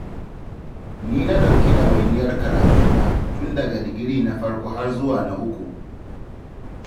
Ni na ɗauki ɗawainiyar karatuna, tun daga digiri na farko har zuwa na uku.